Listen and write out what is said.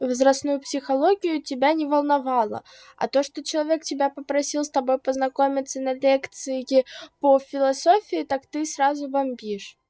возрастную психологию тебя не волновало а то что человек тебя попросил с тобой познакомиться на лекции по философии так ты сразу вопишь